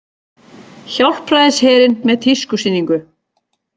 Hjálpræðisherinn með tískusýningu